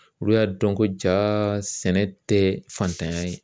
Olu y'a dɔn ko jaa sɛnɛ tɛ fantanya ye